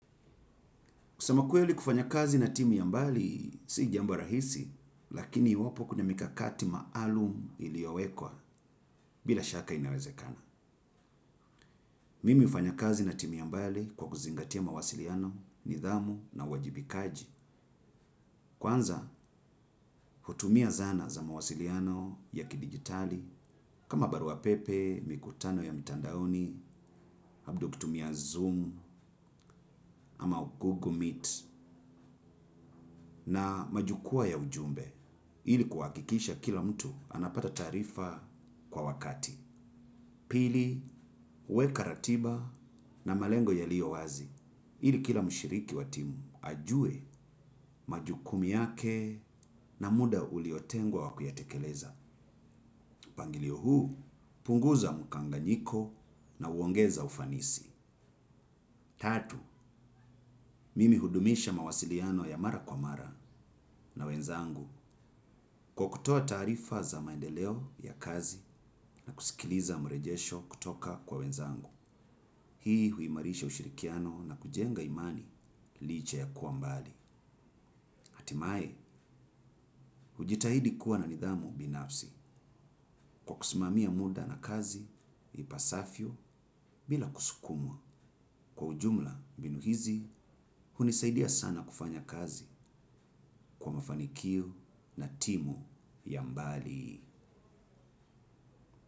Kusema kweli kufanya kazi na timu ya mbali si jambo rahisi, lakini iwapo kuna mikakati maalum iliyowekwa bila shaka inawezekana. Mimi hufanya kazi na timu ya mbali kwa kuzingatia mawasiliano, nidhamu na uwajibikaji. Kwanza, hutumia zana za mawasiliano ya kidigitali kama barua pepe, mikutano ya mitandaoni, labda ukitumia zoom ama google meet na majukwaa ya ujumbe. Ili kuhakikisha kila mtu anapata taarifa kwa wakati. Pili, huweka ratiba na malengo yalio wazi. Ili kila mshiriki wa timu ajue majukumu yake na muda uliotengwa wa kuyatekeleza. Mpangilio huu, punguza mkanganyiko na huongeza ufanisi. Tatu, mimi hudumisha mawasiliano ya mara kwa mara na wenzangu. Kwa kutoa taarifa za maendeleo ya kazi na kusikiliza mrejesho kutoka kwa wenzangu, hii huimarisha ushirikiano na kujenga imani licha ya kuwa mbali. Hatimaye, hujitahidi kuwa na nidhamu binafsi kwa kusimamia muda na kazi, ipasavyo bila kusukumwa. Kwa ujumla mbinu hizi, hunisaidia sana kufanya kazi kwa mafanikio na timu ya mbali.